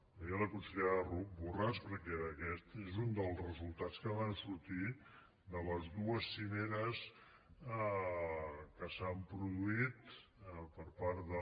ho deia la consellera borràs perquè aquest és un dels resultats que van sortir de les dues cimeres que s’han produït per part de